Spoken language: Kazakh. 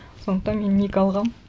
сондықтан мен ник алғанмын